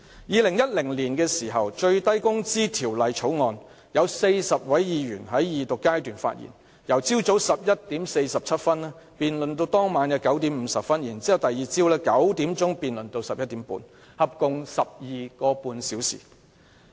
2010年的《最低工資條例草案》，有40位議員在二讀辯論時發言，辯論由早上11時47分至當晚9時50分，以及翌日早上9時至晚上11時半，合共 12.5 小時。